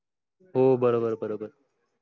हो बरोबर बरोबर.